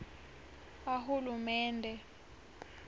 ahulumende